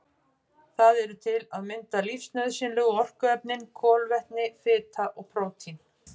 Það eru til að mynda lífsnauðsynlegu orkuefnin kolvetni, fita og prótín.